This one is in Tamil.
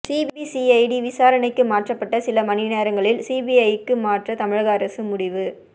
சிபிசிஐடி விசாரணைக்கு மாற்றப்பட்ட சில மணிநேரங்களில் சிபிஐக்கு மாற்ற தமிழக அரசு முடிவு